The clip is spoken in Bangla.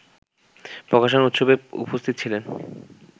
প্রকাশনা উৎসবে উপস্থিত ছিলেন